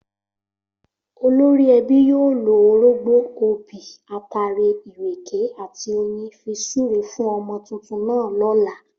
Olórí ẹbí yóò lo orógbó, obì, ataare, ìrèké àti oyin fi súre fún ọmọ tuntun náà lọ́la